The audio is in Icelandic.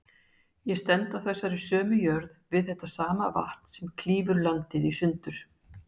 Ég stend á þessari sömu jörð, við þetta sama vatn sem klýfur landið í sundur.